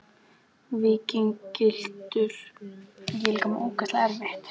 Víking gylltur í gleri Uppáhalds vefsíða?